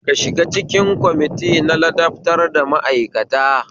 Ka shiga cikin kwamiti na ladabtarwa ma'aikata